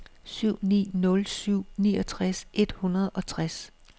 syv ni nul syv niogtres et hundrede og tres